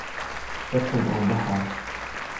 Dadkan oon baxaya.